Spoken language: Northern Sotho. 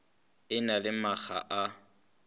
e na le makga a